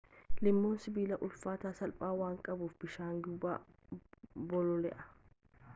lilmoon sibilaa ulfaatina salphaa waan qabuuf bishaan gubbaa bololi'a